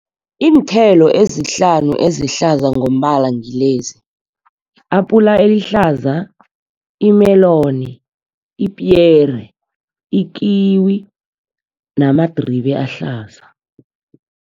Iinthelo ezihlanu ezihlaza ngombala ngilezi apula elihlaza, i-melon, ipiyeri, ikiwi namadribe ahlaza.